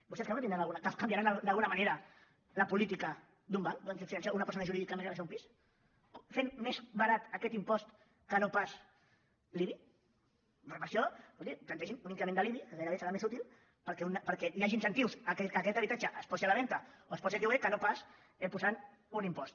vostès creuen que canviaran d’alguna manera la política d’un banc d’una entitat financera d’una persona jurídica a deixar un pis fent més barat aquest impost que no pas l’ibi per a això escoltin plantegin un increment de l’ibi que gairebé serà més útil perquè hi hagi incentius perquè aquest habitatge es posi a la venda o es posi a lloguer que no pas posant un impost